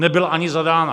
Nebyla ani zadána.